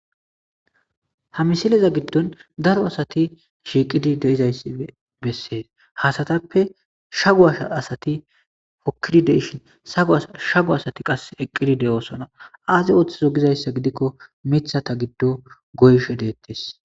ha misileza giddon daro asati shiiqidi de'izayssi bessees hasatappe shagu asha asati pokidideshin sau shagu asati qas eqqidi de7oosona aazi ooththizo gizayssa gidikko mitha ta giddo goysho deettes